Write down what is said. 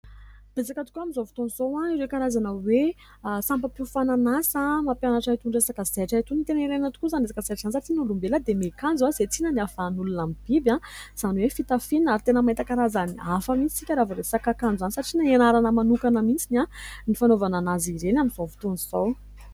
Betsaka tokoa amin'izao fotoana izao ireo karazana hoe sampa-piofanana asa mampianatra itony resaka zaitra itony. Tena ilaina tokoa izany resaka zaitra izany satria na olombelona dia miakanjo, izay tsinona no hiavahan'olona amin'ny biby, izany hoe fitafiana ary tena mahita karazany hafa mihintsy isika raha vao resaka akanjo izany satria na hianarana manokana mihintsy ny fanaovana azy ireny amin'izao fotoana izao.